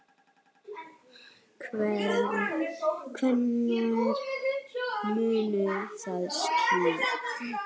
Hvenær mun það skýrast?